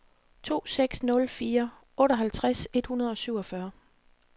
to seks nul fire otteoghalvtreds et hundrede og syvogfyrre